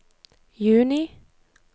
juni